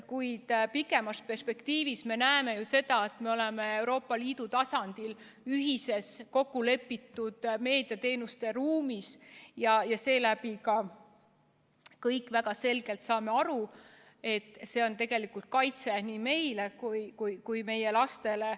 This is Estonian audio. Kuid pikemas perspektiivis me näeme seda, et me oleme Euroopa Liidu tasandil ühiselt kokkulepitud meediateenuste ruumis ja seetõttu saame ka kõik väga selgelt aru, et see on tegelikult kaitse nii meile kui ka meie lastele.